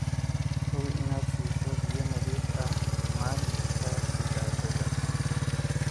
Hubi inaad siiso biyo nadiif ah maalin kasta digaaggaaga.